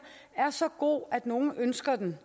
er så god at nogle ønsker den